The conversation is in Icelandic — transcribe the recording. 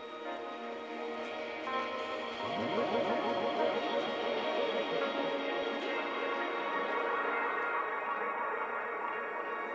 já